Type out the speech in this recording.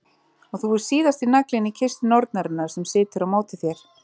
Og þú ert síðasti naglinn í kistu nornarinnar sem situr á móti þér.